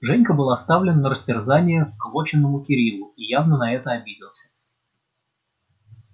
женька был оставлен на растерзание всклокоченному кириллу и явно на это обиделся